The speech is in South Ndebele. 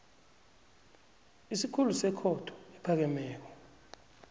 isikhulu sekhotho ephakemeko